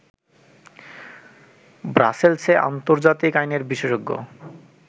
ব্রাসেলসে আন্তর্জাতিক আইনের বিশেষজ্ঞ